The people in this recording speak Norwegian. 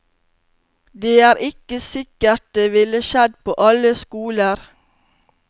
Det er ikke sikkert det ville skjedd på alle skoler.